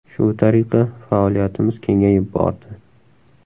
Shu tariqa faoliyatimiz kengayib bordi.